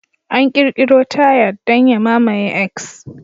An ƙirkiro "Tired" don ya mamaye "X".